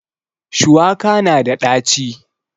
Shuwaka na da ɗaci